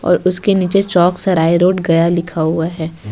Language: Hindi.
और उसके नीचे चौक सराय रोड गया लिखा हुआ है ।